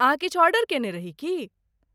अहाँ किछु ऑर्डर केने रही की?